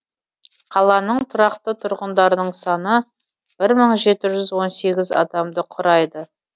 қаланың тұрақты тұрғындарының саны бір мың жеті жүз он сегіз адамды құрайды